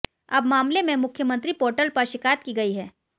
अब मामले में मुख्यमंत्री पोर्टल पर शिकायत की गई है